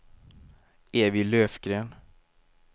Evy Löfgren